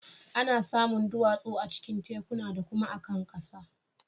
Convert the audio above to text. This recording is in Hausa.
Ana samun duwatsu a cikin tekuna da kuma a kan ƙasa.